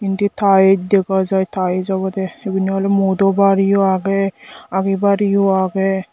indi tiles dega jiy tiles obode igun ole mu dobar yea age agibar yea agey.